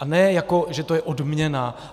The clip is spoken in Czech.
A ne jako že to je odměna.